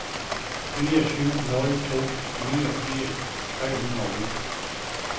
fire syv nul to niogfirs tre hundrede og otte